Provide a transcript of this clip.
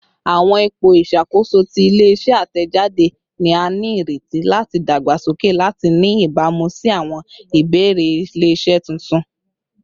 Awọn ipo iṣakoso ti ile-iṣẹ atẹjade ni a nireti lati dagbasoke lati ni ibamu si awọn ibeere ile-iṣẹ tuntun